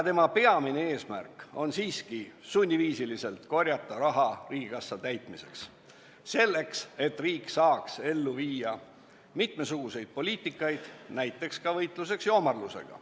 Peamine eesmärk on siiski sunniviisiliselt korjata raha riigikassa täitmiseks selleks, et riik saaks ellu viia mitmesuguseid poliitikaid, näiteks ka võitluseks joomarlusega.